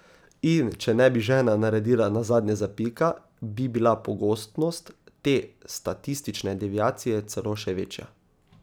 In če ne bi žena naredila nazadnje zapika, bi bila pogostnost te statistične deviacije celo še večja.